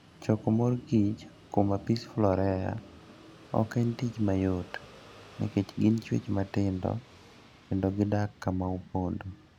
Choko mor kich kuom Apis florea ok en tich mayot, nikech gin chwech matindo kendo gidak kama opondo.